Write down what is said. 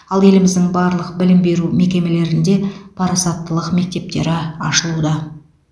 ал еліміздің барлық білім беру мекемелерінде парасаттылық мектептері ашылуда